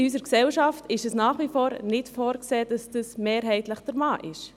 In unserer Gesellschaft ist es nach wie vor vorgesehen, dass dies mehrheitlich der Mann ist.